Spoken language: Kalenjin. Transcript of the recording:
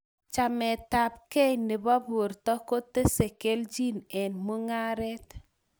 Chametab kee nebo borta kotese keljin eng mung'aret